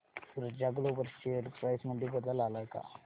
ऊर्जा global share price मध्ये बदल आलाय का